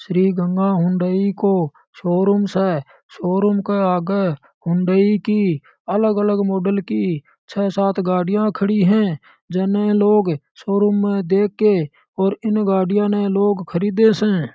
श्री Ganga Hyundai काे showroom से showroom के आगे हुंडई की अलग अलग मॉडल की छः सात गाड़ियां खड़ी है जन लोग शोरूम में देख के और इन गाडिया ने लोग खरीदे से।